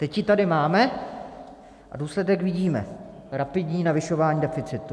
Teď ji tady máme a důsledek vidíme - rapidní navyšování deficitu.